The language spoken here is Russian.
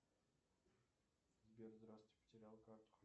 сбер здравствуйте потерял карту